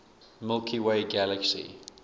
milky way galaxy